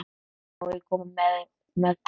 Má ég koma með þér?